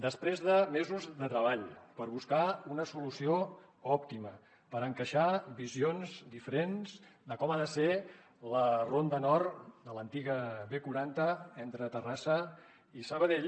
després de mesos de treball per buscar una solució òptima per encaixar visions diferents de com ha de ser la ronda nord de l’antiga b quaranta entre terrassa i sabadell